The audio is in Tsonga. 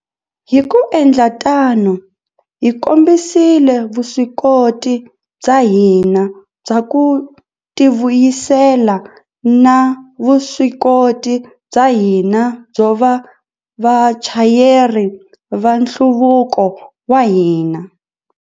Hi ku endla tano, hi kombisile vuswikoti bya hina bya ku tivuyisela na vuswikoti bya hina byo va vachayeri va nhluvuko wa hina.